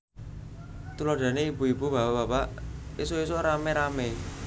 Tuladhané ibu ibu bapak bapak ésuk ésuk ramé ramé